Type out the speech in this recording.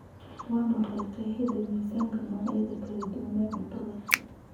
Waa maxay qeexidda miiska noocyada kala duwan ee cuntada